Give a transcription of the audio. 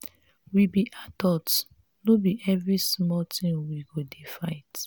we be adults no be every small thing we go dey fight.